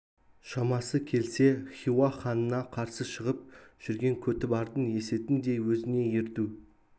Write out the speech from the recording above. шамасы келсе хиуа ханына қарсы шығып жүрген көтібардың есетін де өзіне ерту